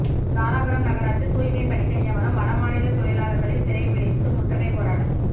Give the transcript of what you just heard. தாராபுரம் நகராட்சி தூய்மை பணிக்கு நியமனம் வடமாநில தொழிலாளர்களை சிறைபிடித்து முற்றுகை போராட்டம்